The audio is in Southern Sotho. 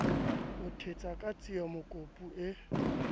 o ithetsa ka tsiemokopu e